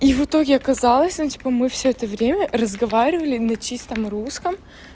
и в итоге оказалось ну типа мы всё это время разговаривали на чистом русском